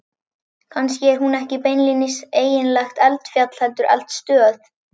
Kannski er hún ekki beinlínis eiginlegt eldfjall heldur eldstöð.